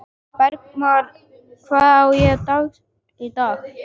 Bergmar, hvað er á dagatalinu í dag?